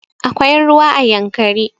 Akwai ruwa a yankari